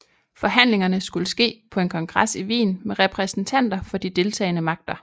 Forhandlingerne skulle ske på en kongres i Wien med repræsentanter for de deltagende magter